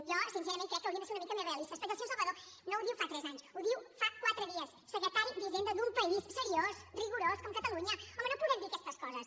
jo sincerament crec que haurien de ser una mica més realistes perquè el senyor salvadó no ho diu fa tres anys ho diu fa quatre dies secretari d’hisenda d’un país seriós rigorós com catalunya home no podem dir aquestes coses